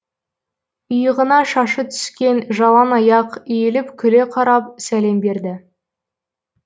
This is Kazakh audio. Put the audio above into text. иығына шашы түскен жалаңаяқ иіліп күле қарап сәлем берді